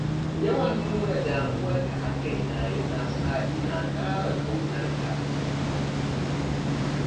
Yawan nuna damuwarka a kaina yana sa ina ƙara ƙaunarka.